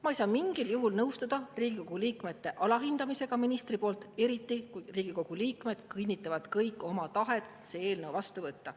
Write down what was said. Ma ei saa mingil juhul nõustuda Riigikogu liikmete alahindamisega ministri poolt, eriti kui Riigikogu liikmed kinnitavad kõik oma tahet see eelnõu vastu võtta.